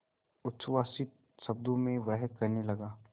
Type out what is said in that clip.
उच्छ्वसित शब्दों में वह कहने लगा